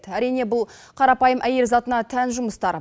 әрине бұл қарапайым әйел затына тән жұмыстар